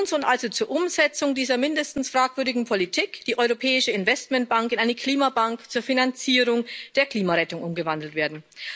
Nun soll also zur Umsetzung dieser mindestens fragwürdigen Politik die Europäische Investitionsbank in eine Klimabank zur Finanzierung der Klimarettung umgewandelt werden.